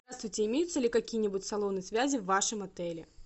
здравствуйте имеются ли какие нибудь салоны связи в вашем отеле